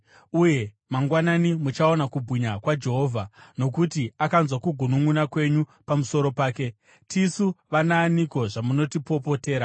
uye mangwanani muchaona kubwinya kwaJehovha, nokuti akanzwa kugununʼuna kwenyu pamusoro pake. Tisu vanaaniko, zvamunotipopotera?”